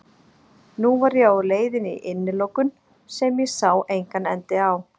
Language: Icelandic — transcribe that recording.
Nú var ég á leiðinni í innilokun sem ég sá engan enda á.